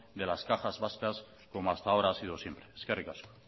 de las cajas vascas como hasta ahora ha sido siempre eskerrik asko